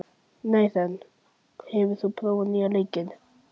Nathan, hefur þú prófað nýja leikinn?